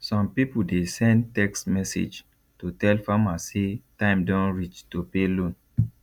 some people dey send text message to tell farmer say time don reach to pay loan